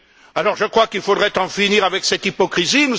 Alors, je crois qu'il faudrait en finir avec cette hypocrisie.